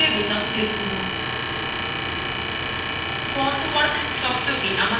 fontwork শব্দthe আমাদের draw পেজএ দেখা যাচ্ছে